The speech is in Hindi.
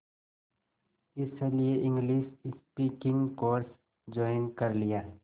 इसलिए इंग्लिश स्पीकिंग कोर्स ज्वाइन कर लिया